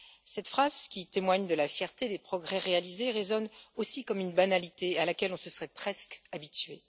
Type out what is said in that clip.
Cette phrase, qui témoigne de la fierté des progrès réalisés, résonne aussi comme une banalité à laquelle on se serait presque habitué.